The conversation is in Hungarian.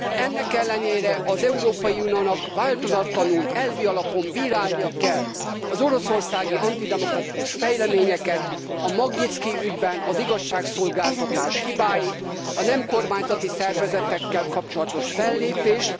Ennek ellenére az Európai Uniónak változatlanul elvi alapon bírálnia kell az oroszországi antidemokratikus fejleményeket, a Magnyitszkij ügyben az igazságszolgáltatás hibáit, a nem kormányzati szervezetekkel kapcsolatos fellépést.